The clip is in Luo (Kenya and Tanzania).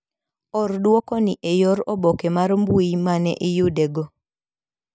Or duoko ni e yor oboke mar mbui mane iyude go.